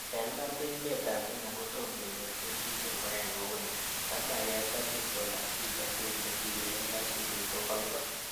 En iman ko emetab kenya kotom konyor kelchin ingoyai kouni, ak maget ak itondab kimnotet nekiyumen aisurut ko golgol.